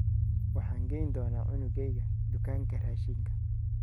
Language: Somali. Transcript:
Waxaan geyn doonaa cunugeyga dukaanka raashinka.